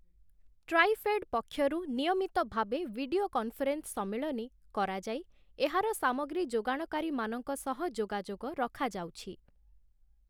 TRIFED ପକ୍ଷରୁ ନିୟମିତ ଭାବେ ଭିଡିଓ କନ୍‌ଫରେନ୍ସ ସମ୍ମିଳନୀ କରାଯାଇ, ଏହାର ସାମଗ୍ରୀ ଯୋଗାଣକାରୀମାନଙ୍କ ସହ ଯୋଗାଯୋଗ ରଖାଯାଉଛି ।